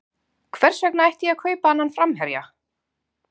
Hvers vegna ætti ég að kaupa annan framherja?